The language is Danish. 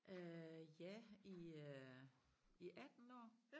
Øh ja i øh i 18 år